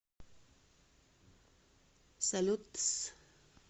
салют тсс